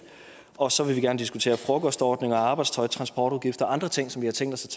og så vil vi gerne diskutere frokostordninger arbejdstøj transportudgifter og andre ting som vi har tænkt os at